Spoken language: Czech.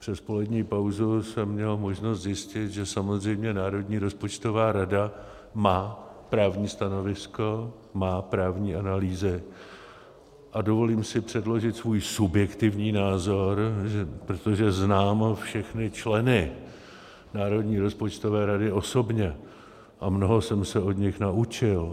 Přes polední pauzu jsem měl možnost zjistit, že samozřejmě Národní rozpočtová rada má právní stanovisko, má právní analýzy, a dovolím si předložit svůj subjektivní názor, protože znám všechny členy Národní rozpočtové rady osobně a mnoho jsem se od nich naučil.